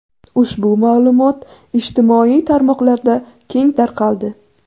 Ushbu ma’lumot ijtimoiy tarmoqlarda keng tarqaldi.